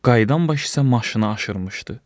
Qayıdan başı isə maşına aşırıbmışdı.